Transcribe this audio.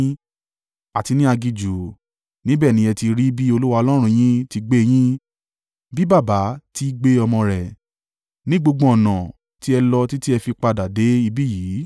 àti ní aginjù. Níbẹ̀ ni ẹ ti rí i bí Olúwa Ọlọ́run yín ti gbé yín, bí baba ti í gbé ọmọ rẹ̀, ní gbogbo ọ̀nà tí ẹ lọ títí ẹ fi padà dé ibí yìí.”